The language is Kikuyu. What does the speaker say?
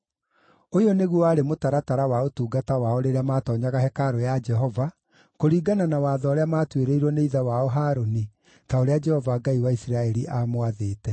Ũyũ nĩguo warĩ mũtaratara wa ũtungata wao rĩrĩa maatoonya hekarũ ya Jehova, kũringana na watho ũrĩa maatuĩrĩirwo nĩ ithe wao Harũni, ta ũrĩa Jehova Ngai wa Isiraeli aamwathĩte.